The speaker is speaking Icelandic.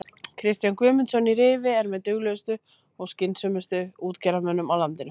Kristján Guðmundsson í Rifi er með duglegustu og skynsömustu útgerðarmönnum á landinu.